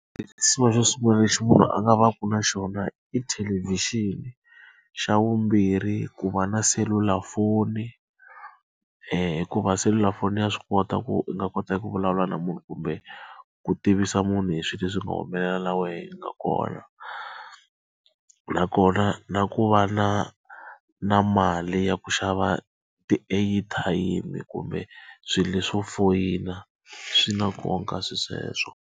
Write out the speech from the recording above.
Xo sungula lexi munhu a nga va ku na xona i thelevhixini. Xa vumbirhi ku va na selulafoni hikuva selulafoni ya swi kota ku u nga kota ku vulavula na munhu kumbe ku tivisa munhu hi swilo leswi nga humelela na wehe na kona. Nakona na ku va na na mali ya ku xava ti-airtime kumbe swilo leswo foyina, swi na nkoka swilo sweswo.